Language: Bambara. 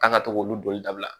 K'a ka to k'olu doni dabila